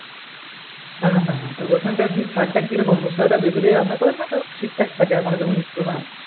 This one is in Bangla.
হ্যা হ্যা হ্যা ওখানকার কি স্বাদ কি রকম মসলাটা কি দেশি দিয়ে রান্না করে না ঠিকঠাক থাকে আমাদের যেমন